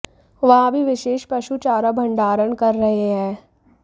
वहाँ भी विशेष पशु चारा भंडारण कर रहे हैं